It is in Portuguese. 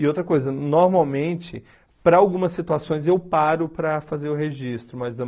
E outra coisa, normalmente, para algumas situações, eu paro para fazer o registro, mas